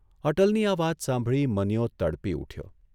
અટલની આ વાત સાંભળી મનીયો તડપી ઉઠ્યો.